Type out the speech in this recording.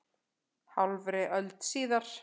Hálfri öld síðar.